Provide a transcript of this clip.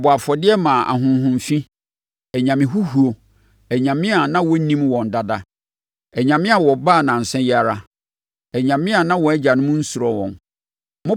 Wɔbɔɔ afɔdeɛ maa ahonhom fi, anyame huhuo, anyame a na wɔnnim wɔn dada, anyame a wɔbaa nnansa yi ara, anyame a na wɔn agyanom nsuro wɔn.